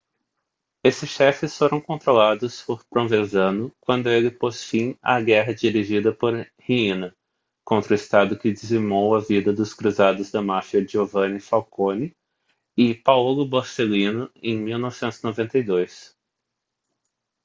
esses chefes foram controlados por provenzano quando ele pôs fim à guerra dirigida por riina contra o estado que dizimou a vida dos cruzados da máfia giovanni falcone e paolo borsellino em 1992